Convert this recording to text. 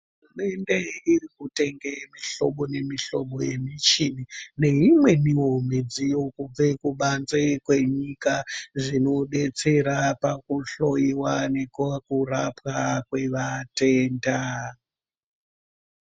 Hurumende irikutenge mihlobo nemihlobo yemichini neimweniwo midziyo kubve kubanze kwenyika zvinodetsera pakuhloyiwa nekokurapwa kwevatenda.